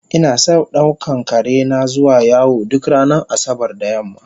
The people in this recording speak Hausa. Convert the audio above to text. Inason daukan karena zuwa yawo duk ranar asabar da yamma